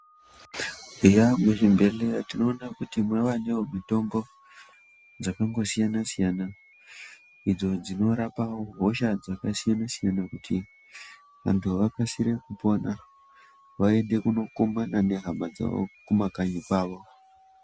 Eya muzvibhehleya tinoona kuti mawanewo nemitombo dzakangsiyana siyana idzo dzinorapawo hosha dzakasiyanasiyana kuti vantu vakasire kupona vaende kunokumbana nehama dzavo kumakanyi kwavo.